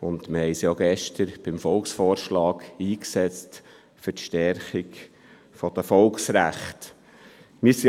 Wir haben uns gestern im Zusammenhang mit dem Volksvorschlag für die Stärkung der Volksrechte eingesetzt.